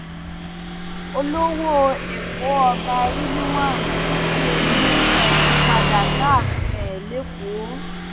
olówó ẹkọ ọba rilwan akiolu ti padà sáàfin ẹ lẹkọọ